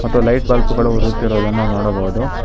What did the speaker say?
ಮತ್ತು light bulb ಗಳು ಉರಿಯುತ್ತಿರುದನ್ನು ನೋಡಬೊದು.